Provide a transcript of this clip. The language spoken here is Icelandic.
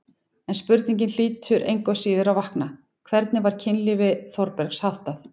En spurningin hlýtur engu að síður að vakna: hvernig var kynlífi Þórbergs háttað?